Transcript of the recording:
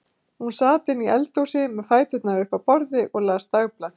Hún sat inni í eldhúsi með fæturna upp á borði og las dagblað.